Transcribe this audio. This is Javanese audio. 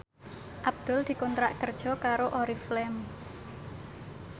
Abdul dikontrak kerja karo Oriflame